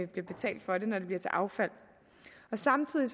betalt for det når det bliver til affald samtidig